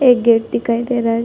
एक गेट दिखाई दे रहा हैं ।